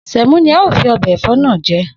Sè̩mó ni a óò fi o̩bè̩ è̩fó̩ náà je